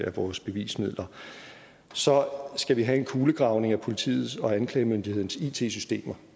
af vores bevismidler så skal vi have en kulegravning af politiets og anklagemyndighedens it systemer